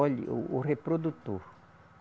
Olha o o reprodutor.